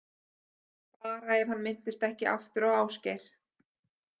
Bara ef hann minnist ekki aftur á Ásgeir.